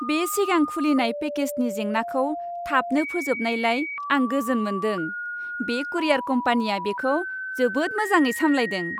बे सिगां खुलिनाय पेकेजनि जेंनाखौ थाबनो फोजोबनायलाय आं गोजोन मोनदों। बे कुरियार कम्पानिया बेखौ जोबोद मोजाङै साम्लायदों।